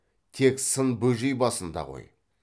тек сын бөжей басында ғой